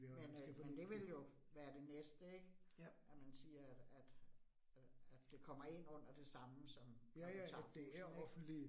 Men øh men det ville jo være det næste ik, at man siger, at at at det kommer ind under det samme, som når du tager bussen ik